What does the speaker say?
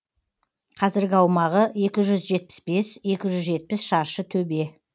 қазіргі аумағы екі жүз жетпіс бес екі жүз жетпіс шаршы төбе